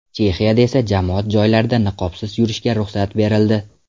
Chexiyada esa jamoat joylarida niqobsiz yurishga ruxsat berildi.